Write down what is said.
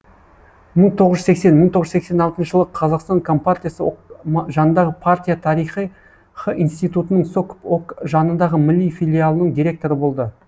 мың тоғыз жүз сексен мың тоғыз жүз сексен алтыншы жылы қазақстан компартиясы ок жанындағы партия тарихы институтынының сокп ок жанындағы мли филиалының директоры болды